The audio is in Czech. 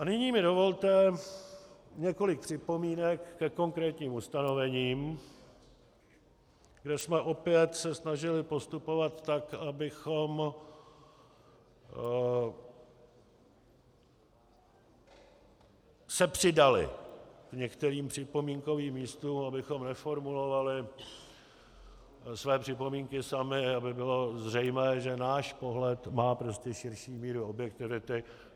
A nyní mi dovolte několik připomínek ke konkrétním ustanovením, kde jsme se opět snažili postupovat tak, abychom se přidali k některým připomínkovým místům, abychom neformulovali své připomínky sami, aby bylo zřejmé, že náš pohled má prostě širší míru objektivity.